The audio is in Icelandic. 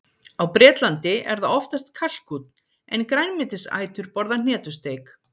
Á Bretlandi er það oftast kalkúnn, en grænmetisætur borða hnetusteik.